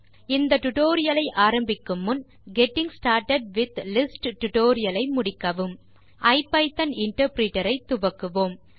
இந்த டியூட்டோரியல் ஐ ஆரம்பிக்கும் முன் கெட்டிங் ஸ்டார்ட்டட் வித் லிஸ்ட்ஸ் டுடோரியலை முடிக்கவும் ஐபிதான் இன்டர்பிரிட்டர் ஐ துவக்குவோம்